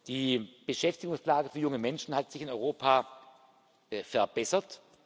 Die Beschäftigungslage für junge Menschen hat sich in Europa verbessert.